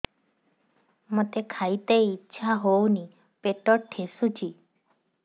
ମୋତେ ଖାଇତେ ଇଚ୍ଛା ହଉନି ପେଟ ଠେସୁଛି